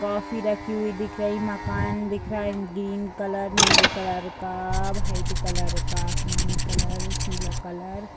coffee रखी हुई दिख रही हैं मकान दिख रहा है ग्रीन कलर नीली कलर का व्हाइट कलर का आसमानी कलर पीला कलर --